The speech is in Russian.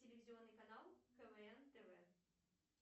телевизионный канал квн тв